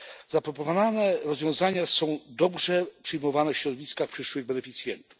Zaproponowane rozwiązania są dobrze przyjmowane w środowiskach przyszłych beneficjentów.